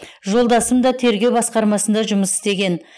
жолдасым да тергеу басқармасында жұмыс істеген